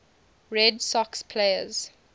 red sox players